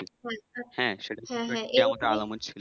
হ্যাঁ, সেটা কিন্তু কেয়ামতের আলামত ছিল